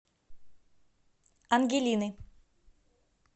ангелины